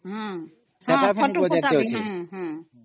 ଅମ୍